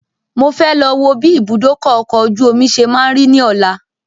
Mo fẹ́ lọ wò bí ìbúdókọ̀ ọ̀kọ̀ ojú omi ṣe má ń rí ní ọ̀la